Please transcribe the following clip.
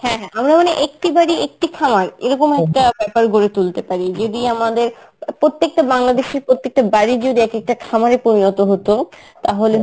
হ্যাঁ হ্যাঁ আমরা মানে একটি বাড়ি একটি খামার এরকম একটা ব্যাপার গড়ে তুলতে পারি যদি আমাদের প্রত্যেকটা বাংলাদেশীর প্রত্যেকটা বাড়ি যদি একেকটা খামারে পরিণত হতো তাহলে